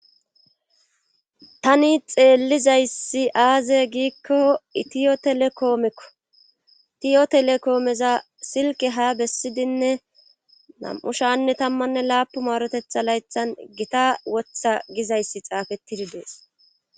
Tani xeellizayssi aaze giikko itiyo telekoomekko itiyo telekoomeza silke ha bessidinne nam7u shaanne tammanne laapu maarotetha laythan gita wotha gizayssi xaafettidi dees.